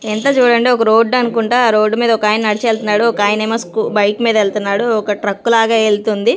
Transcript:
ఇంత చూడండి ఒక రోడ్ అనుకుంటా ఆ రోడ్ మీద ఒక ఆయన నడిచి వెళ్తున్నాడు ఒక ఆయన ఏమో స్కూ బైక్ మీద వెళ్తున్నాడు. ఒక ట్రక్ లాగా వెళ్తుంది.